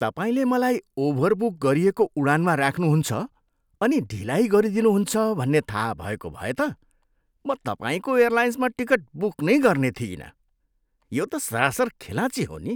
तपाईँले मलाई ओभरबुक गरिएको उडानमा राख्नुहुन्छ अनि ढिलाइ गरिदिनुहुन्छ भन्ने थाहा भएको भए त म तपाईँको एयरलाइन्समा टिकट बुक नै गर्ने थिइनँ। यो त सरासर खेलाँची हो नि।